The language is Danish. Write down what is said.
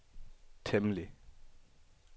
temmelig